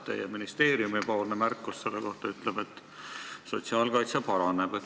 Teie ministeeriumi märkus selle kohta ütleb, et sotsiaalkaitse paraneb.